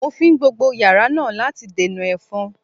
Mo fín gbogbo yàrá náà láti dènà ẹ̀fọn